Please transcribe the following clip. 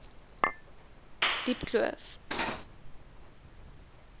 diepkloof